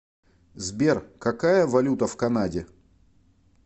сбер какая валюта в канаде